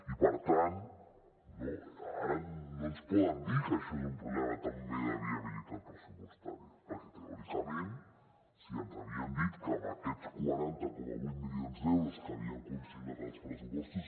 i per tant ara no ens poden dir que això és un problema també de viabilitat pressupostària perquè teòricament si ens havien dit que amb aquests quaranta coma vuit milions d’euros que havien consignat als pressupostos